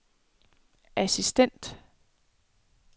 assistent